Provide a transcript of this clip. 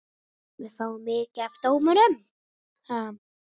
Við fáum mikið af dómum.